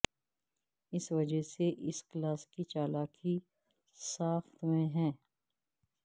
اس وجہ سے اس کلاس کی چالاکی ساخت میں ہے